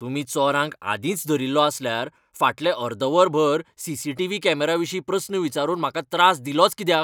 तुमी चोरांक आदींच धरिल्लो आसल्यार फाटलें अर्द वर भर सी.सी.टी.व्ही. कॅमेरा विशीं प्रस्न विचारून म्हाका त्रास दिलोच कित्याक?